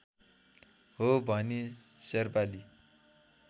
हो भनी शेर्पाली